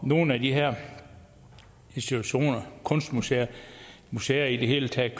nogle af de her institutioner kunstmuseer museer i det hele taget